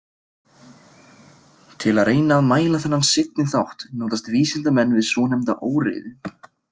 Til að reyna að mæla þennan seinni þátt notast vísindamenn við svonefnda óreiðu.